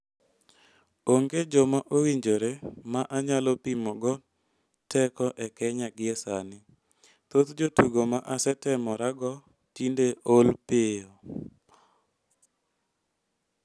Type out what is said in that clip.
"Onge joma owinjore ma anyalo pimogo teko e Kenya gie sani, thoth jotugo ma asetemorego tinde ool pio.